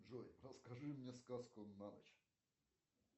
джой расскажи мне сказку на ночь